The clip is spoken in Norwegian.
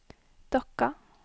Dokka